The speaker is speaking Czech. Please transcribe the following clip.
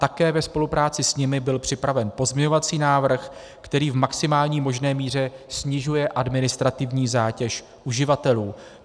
Také ve spolupráci s nimi byl připraven pozměňovací návrh, který v maximální možné míře snižuje administrativní zátěž uživatelů.